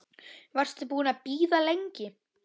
Varstu búin að bíða lengi?